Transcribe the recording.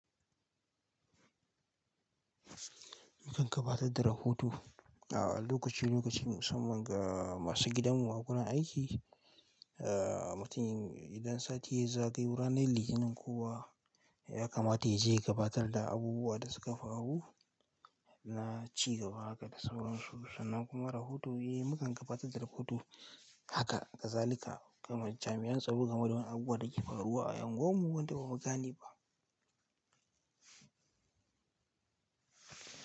Mukan gabatar da rahoto a lokaci lokaci musamman ga masu gidanmu waƙunan aiki. Ahhh, mutun idan sati ya zagayi ranar litinin kuwa ya kamata ya je gabatar da abubuwa da suka faru na cigaba haka da sauran su sannan kuma rahoto. Eh, mukan gabatar da rahoto haka ga zalika kamar jami'an tsaro gama da wani abu da ke faruwa a unguwarmu wanda ba mu gane ba.